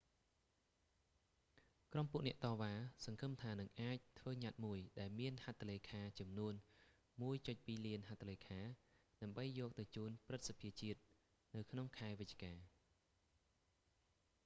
ក្រុមពួកអ្នកតវ៉ាសង្ឃឹមថានឹងអាចធ្វើញត្តិមួយ ដែលមានហត្ថលេខាចំនួន 1.2 លានហត្ថលេខា ដើម្បីយកទៅជូនព្រឹទ្ធសភាជាតិ នៅក្នុងខែវិច្ឆិកា